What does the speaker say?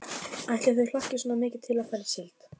Ætli þau hlakki svona mikið til að fara í síld.